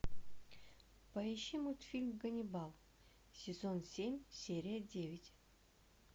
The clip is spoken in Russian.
поищи мультфильм ганнибал сезон семь серия девять